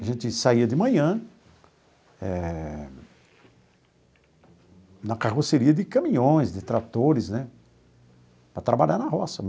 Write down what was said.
A gente saía de manhã eh na carroceria de caminhões, de tratores, né, para trabalhar na roça.